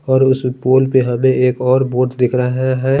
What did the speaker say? और इस पूल पर हमे एक वर्ड बहोत दिख रहा है।